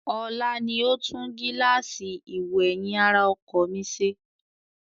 Ọlá ni ó tún gíláàsì ìwò-ẹ̀yìn ara ọkọ̀ mi ṣe